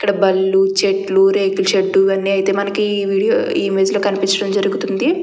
ఇక్కడ బళ్ళు చెట్లు రేకులషెడ్ అయితే మనకి ఈ ఇమేజ్ లో కనిపించడం జరుగ్తుంది.